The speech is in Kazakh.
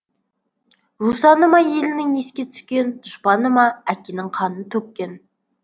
жусаны ма елінің еске түскен дұшпаны ма әкенің қанын төккен